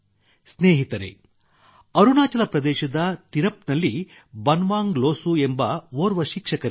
ಸ್ನೇಹಿತರೇ ಅರುಣಾಚಲ ಪ್ರದೇಶದ ತಿರಪ್ ನಲ್ಲಿ ಬನ್ವಾಂಗ್ ಲೋಸು ಎಂಬ ಓರ್ವ ಶಿಕ್ಷಕರಿದ್ದಾರೆ